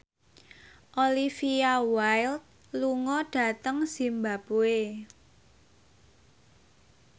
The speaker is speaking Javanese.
Olivia Wilde lunga dhateng zimbabwe